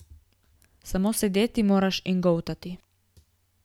Samo sedeti moraš in goltati.